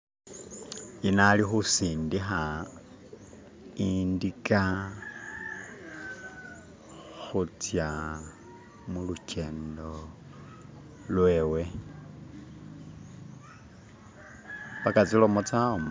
Yuno ali khusindakha indika khutsa mulukendo lwewe, paka tsilomo tsawamo.